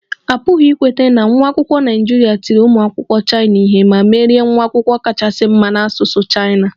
Ọ pụghị ikweta na nwa akwụkwọ Naịjirịa tiri ụmụ akwụkwọ Chaina ihe ma merie nwa akwụkwọ kachasị mma na asụsụ Chaina